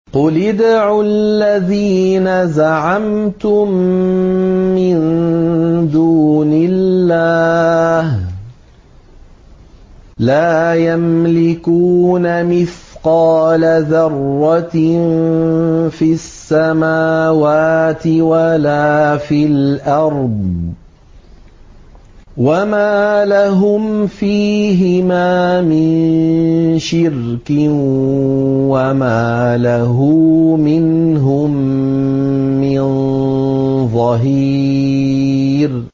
قُلِ ادْعُوا الَّذِينَ زَعَمْتُم مِّن دُونِ اللَّهِ ۖ لَا يَمْلِكُونَ مِثْقَالَ ذَرَّةٍ فِي السَّمَاوَاتِ وَلَا فِي الْأَرْضِ وَمَا لَهُمْ فِيهِمَا مِن شِرْكٍ وَمَا لَهُ مِنْهُم مِّن ظَهِيرٍ